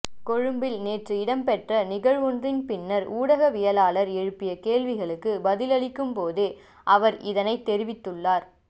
கொழும்பில் நேற்று இடம்பெற்ற நிகழ்வொன்றின் பின்னர் ஊடகவியலாளர்கள் எழுப்பிய கேள்விக்குப் பதிலளித்த போதே அவர் இதனைத் தெரிவித்துள்ளார்